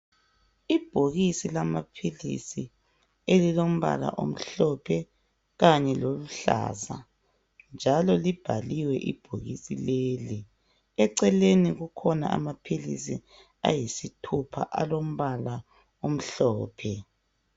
Ibhokisi lamaphilisi elilombala omhlophe kanye loluhlaza njalo libhaliwe ibhokisi leli eceleni kukhona amaphilisi ayisithupha alombala omhlophe.